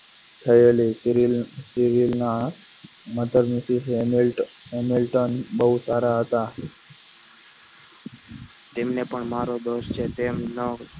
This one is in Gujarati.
થયેલી serial serial ના મધરની helmet બહુ સારા હતા તેમને પણ મારો દોસ્ત છે તેમના